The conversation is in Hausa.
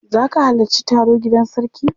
Za ka halarci taro gidan sarki?